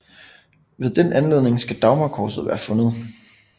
Ved den anledning skal Dagmarkorset være fundet